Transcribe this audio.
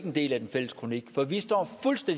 en del af den fælles kronik for vi står